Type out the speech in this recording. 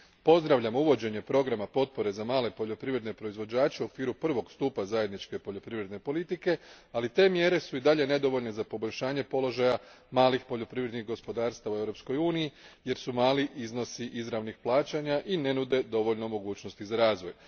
Pozdravljam uvođenje programa potpore za male poljoprivredne proizvođače u okviru prvog stupa zajedničke poljoprivredne politike, ali te mjere su i dalje nedovoljne za poboljšanje položaja malih poljoprivrednih gospodarstava u Europskoj uniji jer su mali iznosi izravnih plaćanja i ne nude dovoljno mogućnosti za razvoj.